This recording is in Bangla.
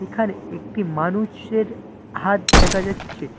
এখানে একটি মানুষের হাত দেখা যাচ্ছে।